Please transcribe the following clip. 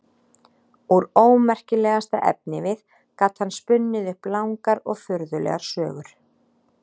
Úr ómerkilegasta efnivið gat hann spunnið upp langar og furðulegar sögur.